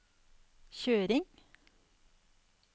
kjøring